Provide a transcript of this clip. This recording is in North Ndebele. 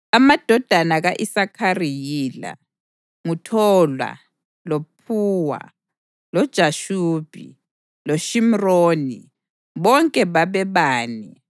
Amadodana ka-Isakhari yila: nguThola, loPhuwa, loJashubi loShimroni, bonke babebane.